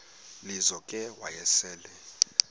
lizo ke wayesel